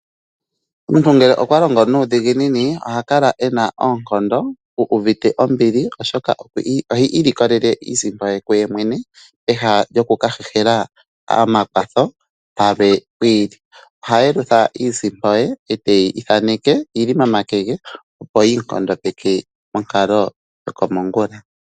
Omuntu ngele okwa longo nuudhiginini oha kala e na oonkondo, u uvite ombili, oshoka ohi ilikolele iisimpo ye kuye mwene, pehala lyoku ka hehela omakwatho palwe pwi ili. Oha yelutha iisimpo ye e teyi thaneke yi li momake ge, opo yi mu nkondopeke monkalo yokomongula.